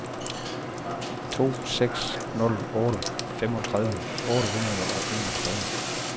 to seks nul otte femogtredive otte hundrede og enogtredive